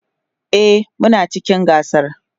e Muna cikin gasar